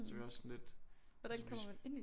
Så vi var også sådan lidt hvis vi